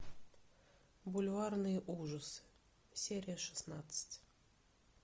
бульварные ужасы серия шестнадцать